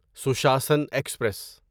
سشاسن express